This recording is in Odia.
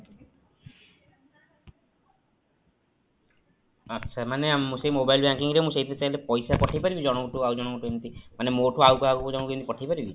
ଆଚ୍ଛା ମାନେ ମୁଁ ସେଇ mobile banking ରେ ମୁଁ ସେଇଠି ଚାହିଁଲେ ପଇସା ପଠେଇପାରିବି ଜଣଙ୍କ ଠୁ ଆଉ ଜଣକୁ ଏମିତି ମାନେ ମୋ ଠୁ ଆଉ ଜଣଙ୍କ ପାଖକୁ ପଠେଇପାରିବି